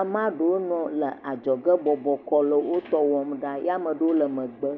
Amaa ɖewo nɔ le adzɔge bɔbɔ kɔ nɔ wotɔ wɔm ɖaa ya ama ɖewo le megbe.